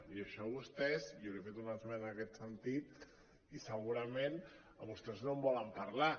i això vostès i jo li he fet una esmena en aquest sentit i segurament vostès no en volen parlar